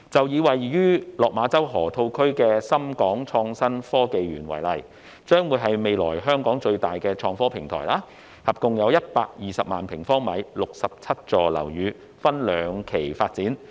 以位於落馬洲河套區的港深創新及科技園為例，該園將是香港未來最大的創科平台，提供合共120萬平方米的總樓面面積 ，67 座樓宇將會分兩期發展。